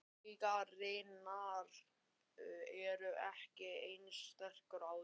Taugarnar eru ekki eins sterkar og áður.